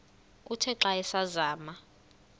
uthe xa asazama